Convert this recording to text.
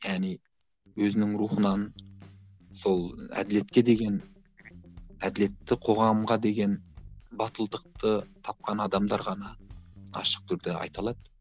яғни өзінің рухынан сол әділетке деген әділетті қоғамға деген батылдықты тапқан адамдар ғана ашық түрде айта алады